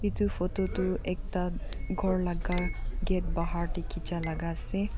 etu photo tu ekta ghor laka gate bahar dekhe ja laka ase.